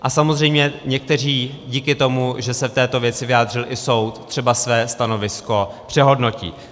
A samozřejmě někteří díky tomu, že se k této věci vyjádřil i soud, třeba své stanovisko přehodnotí.